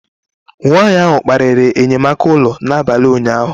Nwanyị ahụ kparịrị enyemaka ụlọ n'abalị ụnyaahụ